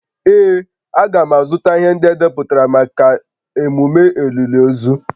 Ee, a ga m azụta ihe ndị edepụtara maka emume olili ozu